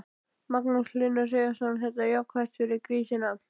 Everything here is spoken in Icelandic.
Magnús Hlynur Hreiðarsson: Þetta er jákvætt fyrir grísina?